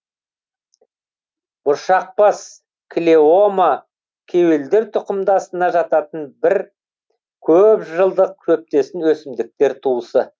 бұршақбас клеома кеуелдер тұқымдасына жататын бір көп жылдық шөптесін өсімдіктер туысы